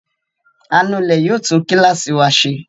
Anulẹ̀ yóò tún kíláàsì wa ṣe.